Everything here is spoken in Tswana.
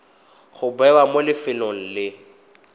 go bewa mo lefelong le